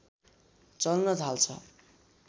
चल्न थाल्छ